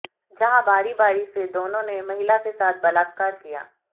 जहां बारी बारी से दोनों ने महिला के साथ बलात्कार किया